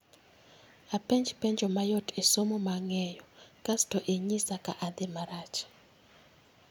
Apenj penjo mayot e somo ma ange'yo kasto ing'isa ka adhi marach